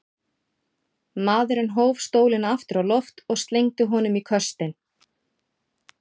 Maðurinn hóf stólinn aftur á loft og slengdi honum í köstinn.